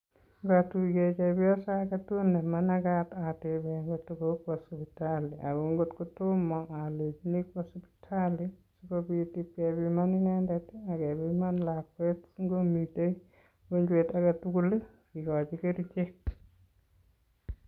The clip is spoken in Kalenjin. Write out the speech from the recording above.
ngatuye chebioso age tugul ne manakat eteben ngotko kokwa sipitali ago ngotkotomo kwa alechini kwo sipitali sikopit kepiman inendet ak kebiman lakwet si ngomite ukonjwet age tugul kikochi kerchek